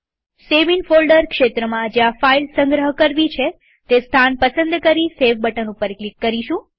save in folder ક્ષેત્રમાં જ્યાં file સંગ્રહ કરવી છે તે સ્થાન પસંદ કરી સેવ બટન ઉપર ક્લિક કરીશું